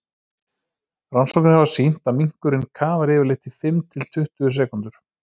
rannsóknir hafa sýnt að minkurinn kafar yfirleitt í fimm til tuttugu sekúndur